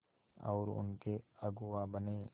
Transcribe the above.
और उनके अगुआ बने